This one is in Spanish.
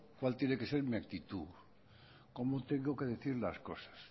cuál tiene que ser mi actitud cómo tengo que decir las cosas